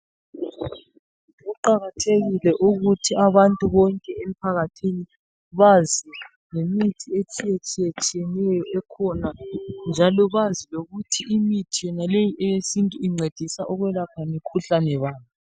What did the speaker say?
Kuqakathekile ukuthi abantu bonke emphakathini bazi ngemithi etshiyetshiyeneyo ekhona njalo bazi lokuthi imithi yonaleyi eyesintu incedisa ukwelapha mikhuhlane bani.